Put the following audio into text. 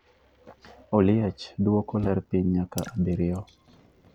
Oliech duoko ler piny nyaka abiriyo